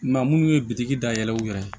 Maa munnu ye biki da yɛlɛ u yɛrɛ ye